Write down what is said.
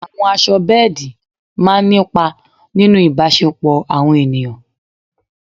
Àwọ̀ aṣọ bẹ́ẹ̀dì máa ń nípa nínú ìbáṣẹpọ̀ àwọn èèyàn.